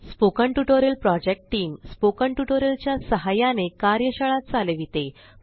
spoken tutorial project team spoken tutorial च्या सहाय्याने कार्यशाळा चालविते